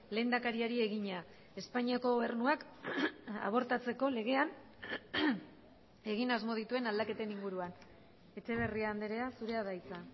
lehendakariari egina espainiako gobernuak abortatzeko legean egin asmo dituen aldaketen inguruan etxeberria andrea zurea da hitza